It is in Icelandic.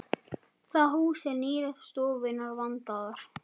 Það hús er nýlegt og stofurnar vandaðar.